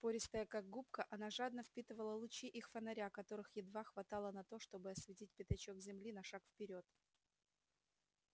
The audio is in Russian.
пористая как губка она жадно впитывала лучи их фонаря которых едва хватало на то чтобы осветить пятачок земли на шаг вперёд